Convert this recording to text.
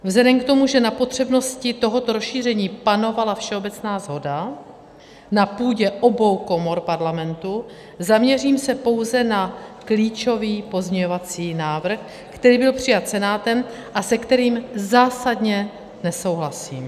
Vzhledem k tomu, že na potřebnosti tohoto rozšíření panovala všeobecná shoda na půdě obou komor Parlamentu, zaměřím se pouze na klíčový pozměňovací návrh, který byl přijat Senátem a se kterým zásadně nesouhlasím.